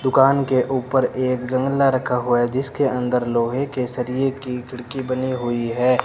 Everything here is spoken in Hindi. दुकान के ऊपर एक जंगला रखा हुआ है जिसके अंदर लोहे के सरिए की खिड़की बनी हुई है।